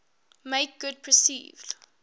make good perceived